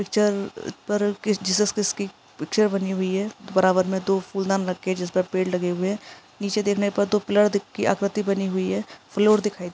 चर पर ओ के जीसस क्राइस्ट की पिक्चर बनी हुई है बराबर में तो फूलदान लगे है जिस पर पेड़ भी लगे हुए है नीचे देखने पर तो ब्लर दी की आपत्ति दिख रही है फ्लोर दिख रहे --